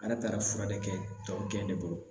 Ala taara fura de kɛ tɔ kɛn de bolo